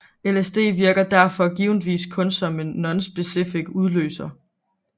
LSD virker derfor givetvis kun som en nonspecifik udløser